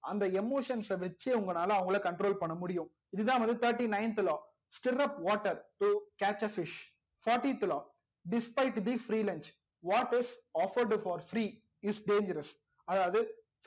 அந்த emotions ச வச்சே உங்களால அவங்கல control பண்ண முடியும் இதுதா வந்து thirty leventh law sitrup water to catch a fish fourtyth law disfight the free lunch what is offered for free is dangerous அதாவது